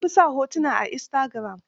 An fi sa hotuna a istagiram.